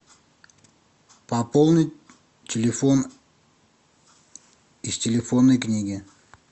пополнить телефон из телефонной книги